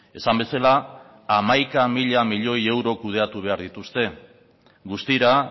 esan bezala hamaika mila miloi euro kudeatu behar dituzte guztira